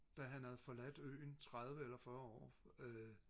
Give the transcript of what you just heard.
da han havde forladt øen tredive eller fyrre år øh